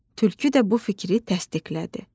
Tülkü də bu fikri təsdiqlədi.